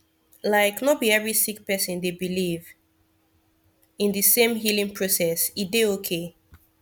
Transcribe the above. like no bi every sik person dey biliv in di sem healing process e dey okay